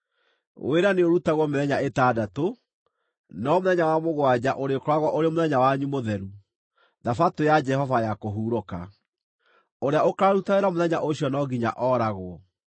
Wĩra nĩũrutagwo mĩthenya ĩtandatũ, no mũthenya wa mũgwanja ũrĩkoragwo ũrĩ mũthenya wanyu mũtheru, Thabatũ ya Jehova ya kũhurũka. Ũrĩa ũkaaruta wĩra mũthenya ũcio no nginya ooragwo.